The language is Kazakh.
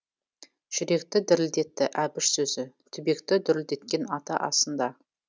жүректі дірілдетті әбіш сөзі түбекті дүрілдеткен ата асында